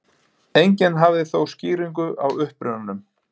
Enginn hafði þó skýringu á upprunanum.